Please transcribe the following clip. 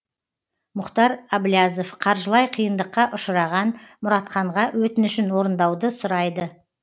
мұхтар әблязов қаржылай қиындыққа ұшыраған мұратханға өтінішін орындауды сұрайды